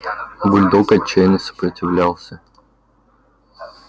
бульдог отчаянно сопротивлялся